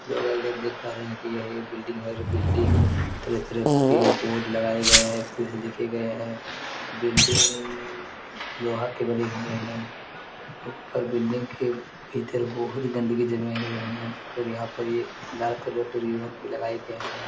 Hello guys आप देख पा रहे हैं कि यह एक बिल्डिंग है जो बिल्डिंग में तरह-तरह के बोर्ड लगाए गये हैं कुछ लिखा गया बिल्डिंग लोहा की बनी हुई हैं ऊपर बिल्डिंग के भीतर बहुत गंदगी जमी हुई है और यहाँ पर ये लाल कलर के रीबन भी लगाये गये हैं।